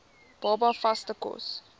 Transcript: baba vaste kos